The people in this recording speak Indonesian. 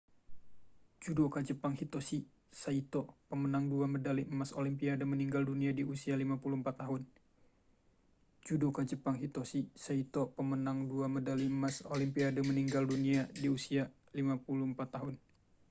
judoka jepang hitoshi saito pemenang dua medali emas olimpiade meninggal dunia di usia 54 tahun